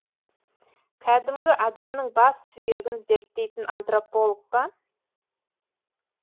кәдімгі адамның бас сүйегін зерттейтін антрополог па